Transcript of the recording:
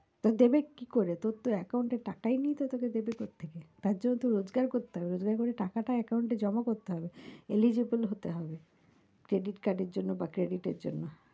তো দেবে কি করে? তোর তো account এ টাকায় নেই তো তোকে দেবে কোত্থকে, তার জন্য তো রোজকার করতে হবে রোজকার করে টাকাটা account এ জমা করতে হবে eligible হতে হবে, credit card এর জন্য বা credit এর জন্য,